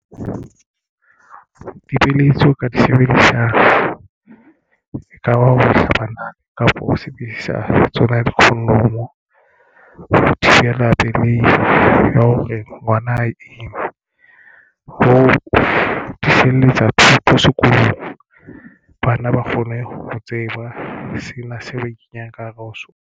Dipeeletso ka di sebedisang ekaba hlabanang kapa ho sebedisa tsona di-condom-o ho thibela pelehi hore ngwana a ima ho feletsa thuto sekolong. Bana ba kgone ho tseba sena seo a ikenyang ka hare ho sona.